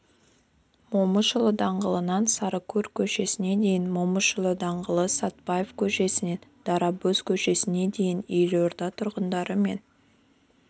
момышұлы даңғылынан сарыкөл көшесіне дейін момышұлы даңғылы сәтбаев көшесінен дарабоз көшесіне дейін елорда тұрғындары мен